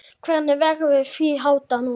Hvernig verður því háttað núna?